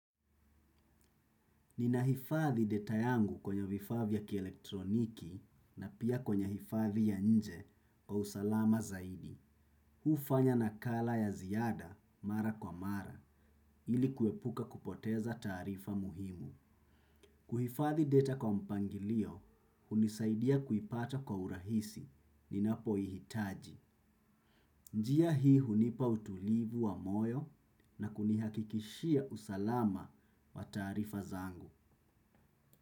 Ninahifadhi data yangu kwenye vifaa vya kielektroniki na pia kwenye hifadhi ya nje kwa usalama zaidi. Hufanya nakala ya ziada mara kwa mara ili kuepuka kupoteza taarifa muhimu. Kuhifadhi data kwa mpangilio, hunisaidia kuipata kwa urahisi, ninapoihitaji. Njia hii hunipa utulivu wa moyo na kunihakikishia usalama wa taarifa zangu.